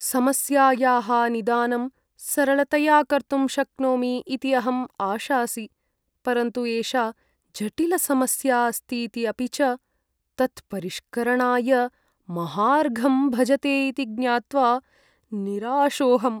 समस्यायाः निदानं सरलतया कर्तुं शक्नोमि इति अहं आशासि, परन्तु एषा जटिलसमस्या अस्तीति अपि च तत्परिष्करणाय महार्घं भजते इति ज्ञात्वा निराशोऽहम्।